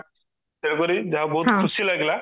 ତେଣୁ କରି ଯାହଉ ବହୁତ ଖୁସି ଲାଗିଲା